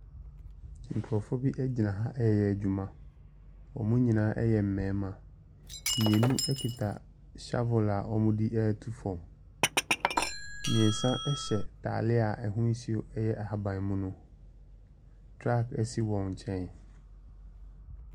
Nkurofoɔ bi egyina ha ɛyɛ adwuma. Ɔmo nyinaa ɛyɛ mmɛrima. Mmienu ekita shavil a ɔmo de etu fam. Mmiɛnsa hyɛ ataare a ɛho suo ɛyɛ ahabanmono. Traap esi wɔn nkyɛn.